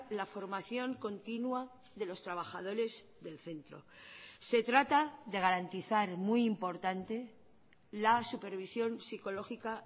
la formación continua de los trabajadores del centro se trata de garantizar muy importante la supervisión psicológica